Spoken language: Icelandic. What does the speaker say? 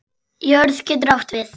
Jörð getur átt við